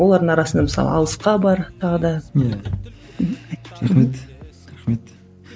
олардың арасында мысалы алысқа бар тағы да иә мхм рахмет рахмет